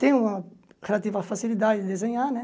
Tenho um relativa facilidade de desenhar, né?